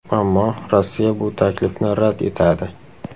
Ammo Rossiya bu taklifni rad etadi.